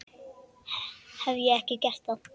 Hef ég ekki gert það?